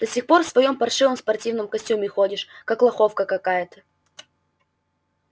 до сих пор в своём паршивом спортивном костюме ходишь как лоховка какая-то